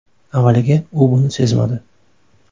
Avvaliga u buni sezmadi.